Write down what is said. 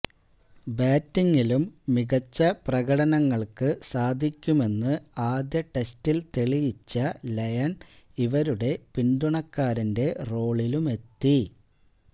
ബാറ്റിങ്ങിലും മികച്ച പ്രകടനങ്ങൾക്ക് സാധിക്കുമെന്ന് ആദ്യ ടെസ്റ്റിൽ തെളിയിച്ച ലയൺ ഇവരുടെ പിന്തുണക്കാരന്റെ റോളിലുമെത്തി